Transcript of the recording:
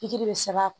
Pikiri bɛ sɛbɛn a kɔnɔ